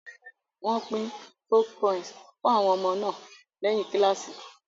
Wọ́n pín folk poems fún àwọn ọmọ náà lẹ́yìn kíláàsì